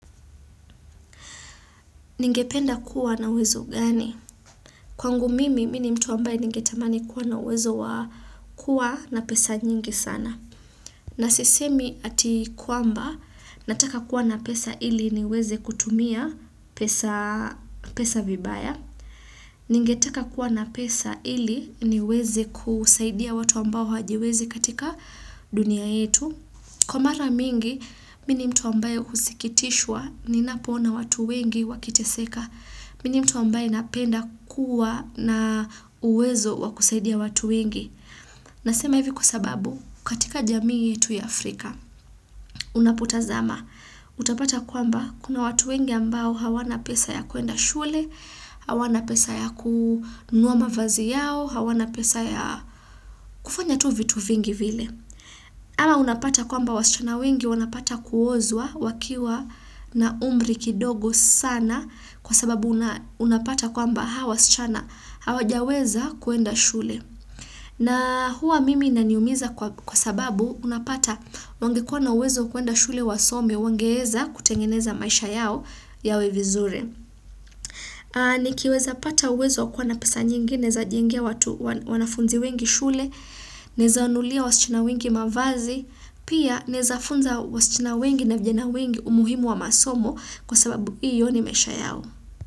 Ningependa kuwa na uwezo gani? Kwangu mimi, mimi ni mtu ambaye ningetamani kuwa na uwezo wa kuwa na pesa nyingi sana. Nasisemi ati kwamba, nataka kuwa na pesa ili niweze kutumia pesa pesa vibaya. Ningetaka kuwa na pesa ili niweze kusaidia watu ambao hajiwezi katika dunia yetu. Kwa mara mingi, mimi ni mtu ambaye husikitishwa ninapoona watu wengi wakiteseka. Mimi ni mtu ambaye napenda kuwa na uwezo wa kusaidia watu wengi. Nasema hivi kwa sababu, katika jamii yetu ya Afrika, unapotazama. Utapata kwamba, kuna watu wengi ambao hawana pesa ya kuenda shule, hawana pesa ya kununua mavazi yao, hawana pesa ya kufanya tu vitu vingi vile. Ama unapata kwamba wasichana wengi wanapata kuozwa wakiwa na umri kidogo sana kwa sababu unapata kwamba hawa wasichana hawajaweza kuenda shule. Na huwa mimi inaniumiza kwa sababu unapata wangekuwa na uwezo kuenda shule wasome wangeweza kutengeneza maisha yao yawe vizuri. Nikiweza pata uwezo wa kuwa na pesa nyingi, naweza jengea watu wanafunzi wengi shule, naweza wanunulia wasichana wengi mavazi, pia naweza funza wasichana wengi na vijana wengi umuhimu wa masomo kwa sababu hiyo ni maisha yao.